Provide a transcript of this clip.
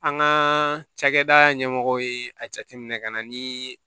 An ka cakɛda ɲɛmɔgɔw ye a jateminɛ ka na ni